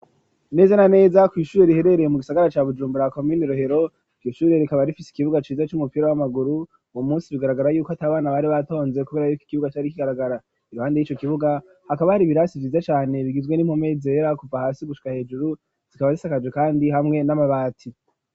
Neza na neza kw'ishure riherereye mu gisagara ca Bujumbura komine Rohero iryo shure rikaba rifise ikibuga ciza c'umupira w'amaguru uwo musi bigaragara yuko ata bana bari batonze kubera yuko ikibuga cari kigaragara iruhande yiyo kibuga hakaba hari ibirasi vyiza cane bigizwe n'impome izera kuva hasi gushika hejuru zikaba zisakaje kandi hamwe n'amabati.